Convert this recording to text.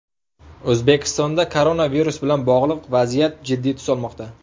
O‘zbekistonda koronavirus bilan bog‘liq vaziyat jiddiy tus olmoqda.